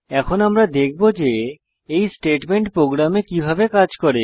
এখন আমরা দেখব যে এই স্টেটমেন্ট প্রোগ্রামে কিভাবে ব্যবহার করে